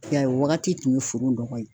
I y'a ye o wagati tun ye foro nɔgɔ ye.